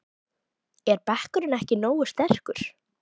Er bekkurinn ekki nógu sterkur?